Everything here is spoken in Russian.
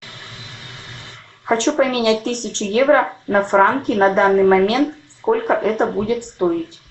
хочу поменять тысячу евро на франки на данный момент сколько это будет стоить